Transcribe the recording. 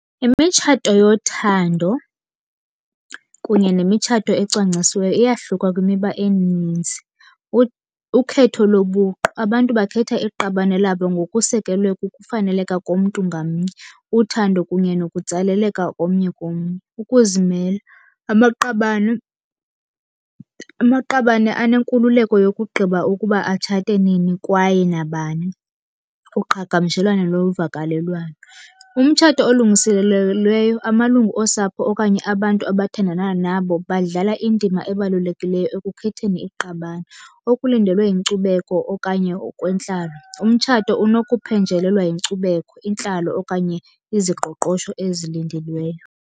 Imitshato yothando kunye nemitshato ecwangcisiweyo iyahluka kwimiba emininzi. Ukhetho lobuqu, abantu bakhetha iqabane labo ngokusekelwe kukufaneleka komntu ngamnye. Uthando kunye nokutsaleleka komnye komnye. Ukuzimela, amaqabane, amaqabane anenkululeko yokugqiba ukuba atshate nini kwaye nabani. Uqhagamshelwano lovakalelwano, umtshato olungiselelweyo amalungu osapho okanye abantu abathandana nabo badlala indima ebalulekileyo ekukhetheni iqabane. Okulindelwe yinkcubeko okanye okwentlalo, umtshato unokuphenjelelwa yinkcubeko, intlalo okanye iziqoqosho ezilindelweyo.